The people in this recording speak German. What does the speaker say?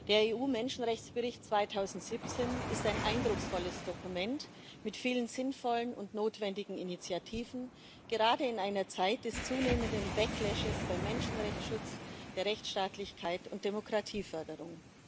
Der EU Menschenrechtsbericht 2017 ist ein eindrucksvolles Dokument mit vielen sinnvollen und notwendigen Initiativen, gerade in einer Zeit des zunehmenden bei Menschenrechtsschutz, Rechtsstaatlichkeit und Demokratieförderung.